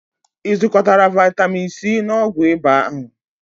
Ị zụkotara vitamin C na ọgwụ ịba Ahu?